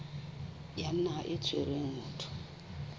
ya naha e tshwereng motho